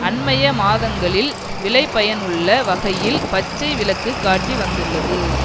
அண்மைய மாதங்களில் விளைபயனுள்ள வகையில் பச்சை விளக்கு காட்டி வந்துள்ளது